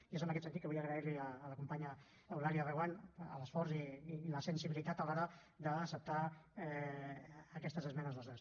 i és en aquest sentit que vull agrair li a la companya eulalia reguant l’esforç i la sensibilitat a l’hora d’acceptar aquestes esmenes nostres